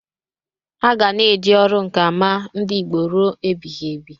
Aga na-eji ọrụ nka ama ndị Igbo ruo ebighibi.